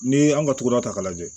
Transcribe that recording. N'i ye an ka togoda ta k'a lajɛ